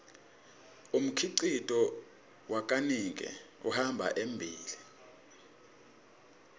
umkhicito wakanike uhamba embile